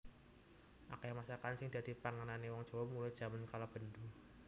Akeh masakan sing dhadi pangane wong Jawa mulai jaman kalabendhu